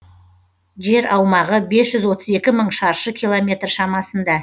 жер аумағы бес жүз отыз екі мың шаршы километр шамасында